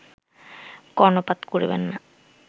কর্ণপাত করিবেন না